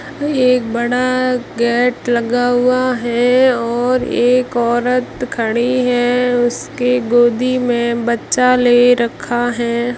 ये एक बड़ा गेट लगा हुआ है और एक औरत खड़ी है उसके गोदी में बच्चा ले रखा है।